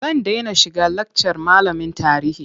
Zan dena shiga lakcar malamin tarihi.